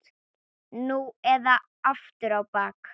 Nú eða aftur á bak!